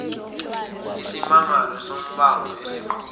isimangalo sombango esiqubuke